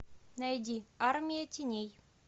найди армия теней